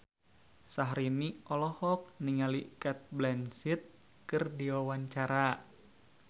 Syahrini olohok ningali Cate Blanchett keur diwawancara